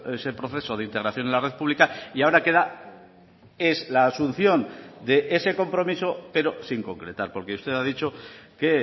ese proceso de integración en la red pública y ahora queda es la asunción de ese compromiso pero sin concretar porque usted ha dicho que